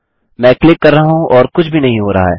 मैं क्लिक कर रहा हूँ और कुछ भी नहीं हो रहा है